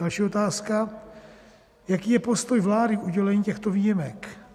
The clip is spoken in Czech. Další otázka: Jaký je postoj vlády k udělení těchto výjimek?